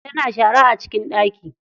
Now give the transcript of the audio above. Tana shara a cikin ɗaki.